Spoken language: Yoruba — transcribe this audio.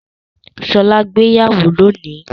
Ṣọlá gbéyàwó lónìí?